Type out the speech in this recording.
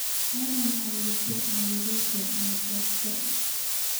Ano maxa ii dambta nabii Issa soqabto.